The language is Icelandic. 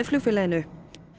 flugfélaginu